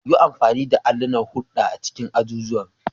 Yi amfani da allunan hulɗa a cikin azuzuwan.